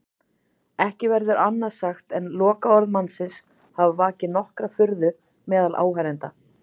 Ekki verður annað sagt en lokaorð mannsins hafi vakið nokkra furðu meðal áheyrenda.